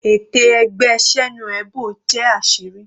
Ète ẹgbẹ́ Senuebo jẹ́ àṣírí.